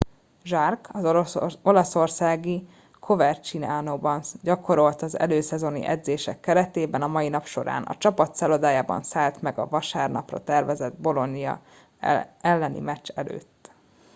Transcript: jarque az olaszországi covercianóban gyakorolt az előszezoni edzések keretében a mai nap során a csapat szállodájában szállt meg a vasárnapra tervezett bolonia elleni meccs előtt